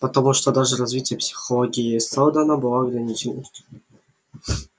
потому что даже развитая психология сэлдона была ограниченной